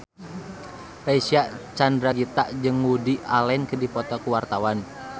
Reysa Chandragitta jeung Woody Allen keur dipoto ku wartawan